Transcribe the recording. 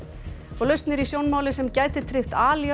lausn er í sjónmáli sem gæti tryggt